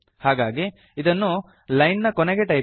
ಹಾಗಾಗಿ ಇದನ್ನು ಲೈನ್ ನ ಕೊನೆಗೆ ಟೈಪ್ ಮಾಡಿ